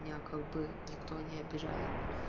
меня как бы никто не обижает